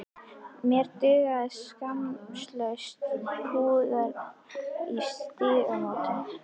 Mér dugðu saklausu púðarnir í Stígamótum!